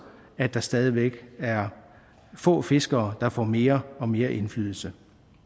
at der stadig væk er få fiskere der får mere og mere indflydelse